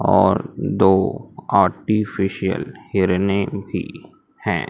और दो आर्टिफिशियल हिरने भी हैं।